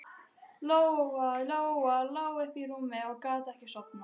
Lóa-Lóa lá uppi í rúmi og gat ekki sofnað.